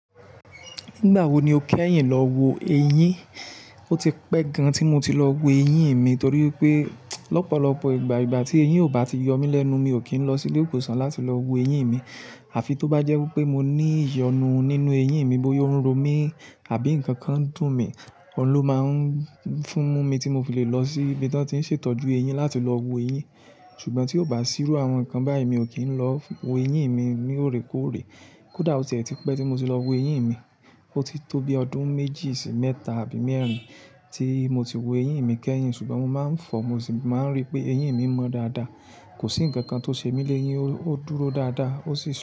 Nígbà wo ni o kẹ́yìn lọ wo eyín? O ti pẹ́ gan tí mo ti lọ wo eyín mi nitorí wipé lọ́pọ̀lọpọ̀ ìgbà ìgbà tí eyín ò bá ti yọ mí lẹ́nu, mi ò kí ń lọ sí ilé ìwòsàn láti lọ wo eyín mi. Àfi tó bá jẹ́ wípé mo ní ìyọnu nínú eyín mi, bóyá o n ro mi àbí ǹkan kan dùn mí, ọ̀ún ló máa ń fún mi tí mo fi lè lọ sí ibi tí wọ́n ti ń ṣètọ́jú eyín láti lọ wo eyín. Ṣùgbọ́n tí ò bá sí irú àwọn nǹkan báyìí, mi ò kí ń lọ wo eyín mi ní òrékóòrè. Kódà o ti ẹ̀ ti pẹ́ tí mo ti lọ wo eyín mi. O ti tó bi ọdún méjì sí mẹ́ta àbí mẹ́rin tí mo ti wo eyín mi kẹ́yìn. Ṣùgbọ́n mo máa ń fọ, mo sì máa ń rí pé eyín mi mọ́ dáradára. Kò sí ǹkan kan tó ṣe mí léyín, ó dúró dáradára, ó sì pọ̀